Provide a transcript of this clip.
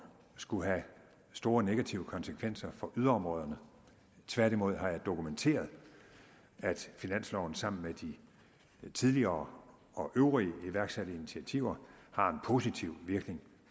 skulle have store negative konsekvenser for yderområderne tværtimod har jeg dokumenteret at finansloven sammen med de tidligere og øvrige iværksatte initiativer har en positiv virkning